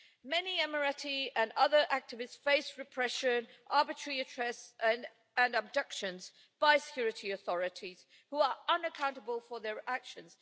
Many Emirati and other activists face repression, arbitrary arrests and abductions by security authorities, who are unaccountable for their actions.